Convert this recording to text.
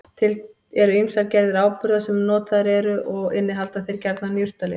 Til eru ýmsar gerðir áburða sem notaðir eru og innihalda þeir gjarnan jurtalyf.